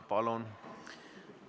Palun!